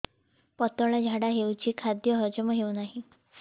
ପତଳା ଝାଡା ହେଉଛି ଖାଦ୍ୟ ହଜମ ହେଉନାହିଁ